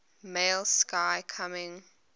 male sky coming